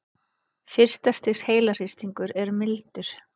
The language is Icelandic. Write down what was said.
Fyrsta stigs heilahristingur er mildur.